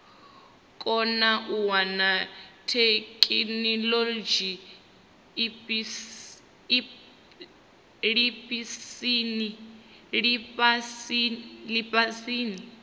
kone u wana theikinolodzhi lifhasini